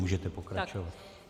Můžete pokračovat.